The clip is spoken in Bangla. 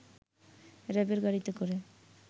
র‌্যাবের গাড়িতে করে